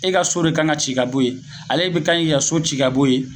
E ka so de kanɲi ka ci ka bɔ ye ale be ka ɲi ka so ci ka bɔ ye